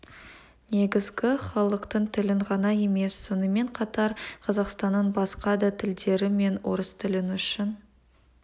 негізгі халықтың тілін ғана емес сонымен қатар қазақстанның басқа да тілдері мен орыс тілі үшін